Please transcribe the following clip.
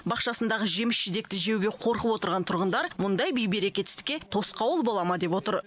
бақшасындағы жеміс жидекті жеуге қорқып отырған тұрғындар мұндай бей берекетсіздікке тосқауыл бола ма деп отыр